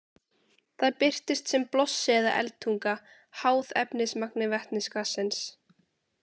Það birtist sem blossi eða eldtunga, háð efnismagni vetnisgassins.